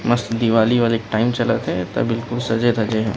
मस्त दिवाली वाली टाइम चलत थे त सजे-धजे हे।